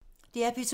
DR P2